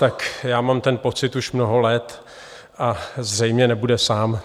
Tak já mám ten pocit už mnoho let a zřejmě nebude sám.